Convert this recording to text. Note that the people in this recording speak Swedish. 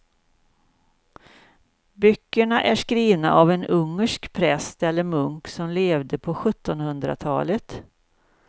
Böckerna är skrivna av en ungersk präst eller munk som levde på sjuttonhundratalet.